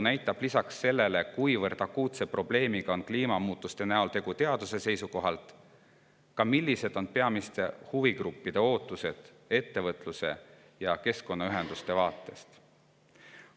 Peale selle, kuivõrd akuutne on kliimamuutuste probleem teaduse seisukohast, tänane arutelu ka peamiste huvigruppide ootusi ettevõtluse ja keskkonnaühenduste vaate.